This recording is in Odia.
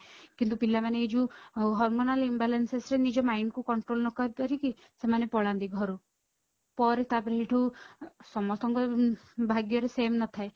କିନ୍ତୁ ପିଲାମାନେ ଏଇ ଯୋଉ hormonal imbalance ରେ ନିଜ mind କୁ control ନ କରି ପାରିକି ସେମାନେ ପଳାନ୍ତି ଘରୁ ପରେ ତା ପରେ ହେଇଠୁ ସମସ୍ତଙ୍କର ଭାଗ୍ୟରେ same ନଥାଏ